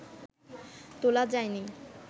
তোলা যায়নি